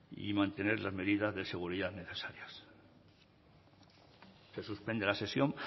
y mantener las medidas de seguridad necesarias se suspende la sesión